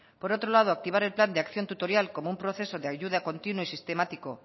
por otro lado activar el plan de acción tutorial como un proceso de ayuda continua y sistemático